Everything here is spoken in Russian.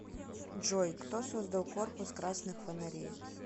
джой кто создал корпус красных фонарей